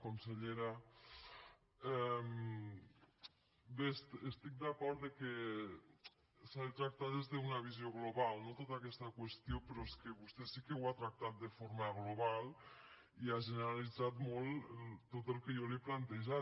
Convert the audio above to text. consellera bé estic d’acord que s’ha de tractar des d’una visió global no tota aquesta qüestió però és que vostè sí que ho ha tractat de forma global i ha generalitzat molt tot el que jo li he plantejat